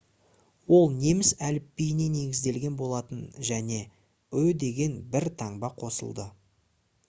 ол неміс әліпбиіне негізделген болатын және «õ/õ» деген бір таңба қосылды